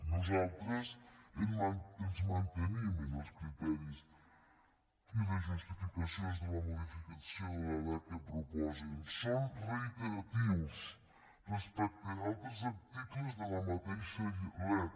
nosaltres ens mantenim en els criteris i les justificacions de la modificació de la lec que proposen són reiteratius respecte a altres articles de la mateixa lec